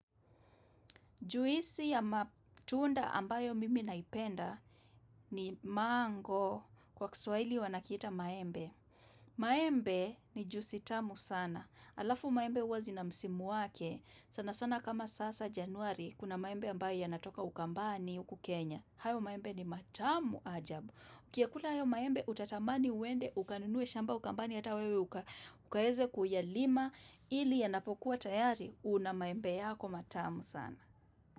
Juisi ya matunda ambayo mimi naipenda ni mango kwa kiswahili wanakiita maembe. Maembe ni juisi tamu sana. Alafu maembe huwa zina msimu wake. Sana sana kama sasa januari kuna maembe ambayo yanatoka ukambani uku Kenya. Hayo maembe ni matamu ajabu. Ukiyakula hayo maembe utatamani uende ukanunue shamba ukambani hata wewe ukaweze kuyalima. Ili yanapokuwa tayari una maembe yako matamu sana.